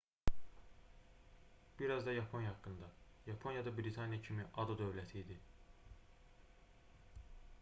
bir az da yaponiya haqqında yaponiya da britaniya kimi ada dövləti idi